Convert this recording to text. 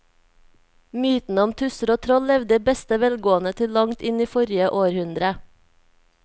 Mytene om tusser og troll levde i beste velgående til langt inn i forrige århundre.